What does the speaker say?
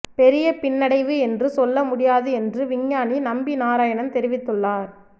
பெரிய பின்னடைவு என்று சொல்ல முடியாது என்று விஞ்ஞானி நம்பி நாராயணன் தெரிவித்துள்ளார்